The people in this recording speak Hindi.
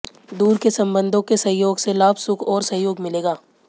दूर के संबंधों के सहयोग से लाभ सुख और सहयोग मिलेगा